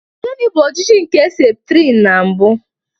Gini bụ ojiji nke septrin na mbụ?